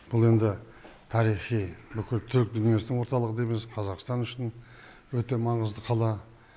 бұл енді тарихи бүкіл түрік дүниесінің орталығы дейміз қазақстан үшін өте маңызды қала